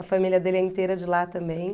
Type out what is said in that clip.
A família dele é inteira de lá também.